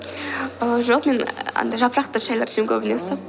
ааа жоқ мен ааа андай жапырақты шайлар ішемін көбінесе ммм